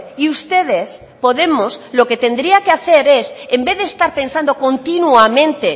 y ustedes podemos lo que tendrían que hacer es en vez de estar pensando continuamente